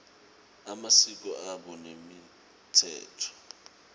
emasiko abo nemitsetfo